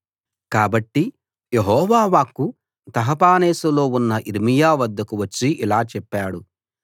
కాబట్టి యెహోవా వాక్కు తహపనేసులో ఉన్న యిర్మీయా వద్దకు వచ్చి ఇలా చెప్పాడు